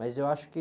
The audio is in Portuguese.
Mas eu acho que...